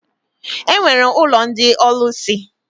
E nwere ụlọ ndị ọlụsị.